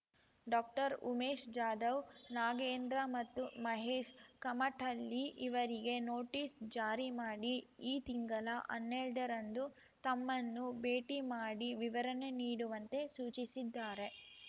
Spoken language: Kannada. ಡಾಕ್ಟರ್ ಉಮೇಶ್ ಜಾಧವ್ ನಾಗೇಂದ್ರ ಮತ್ತು ಮಹೇಶ್ ಕಮಟಳ್ಳಿ ಇವರಿಗೆ ನೋಟಿಸ್ ಜಾರಿ ಮಾಡಿ ಈ ತಿಂಗಳ ಹನ್ನೆರಡ ರಂದು ತಮ್ಮನ್ನು ಭೇಟಿ ಮಾಡಿ ವಿವರಣೆ ನೀಡುವಂತೆ ಸೂಚಿಸಿದ್ದಾರೆ